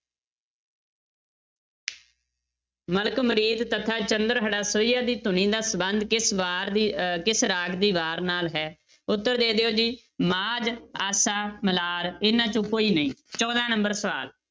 ਮਲਕ ਮੁਰੀਦ ਤਥਾ ਚੰਦ੍ਰਹੜਾ ਸੋਹੀਆ ਦੀ ਧੁਨੀ ਦਾ ਸੰਬੰਧ ਕਿਸ ਵਾਰ ਦੀ ਅਹ ਕਿਸ ਰਾਗ ਦੀ ਵਾਰ ਨਾਲ ਹੈ, ਉੱਤਰ ਦੇ ਦਿਓ ਜੀ, ਮਾਝ, ਆਸਾ, ਮਲਾਰ, ਇਹਨਾਂ ਚੋਂ ਕੋਈ ਨਹੀਂ ਚੌਦਾਂ number ਸਵਾਲ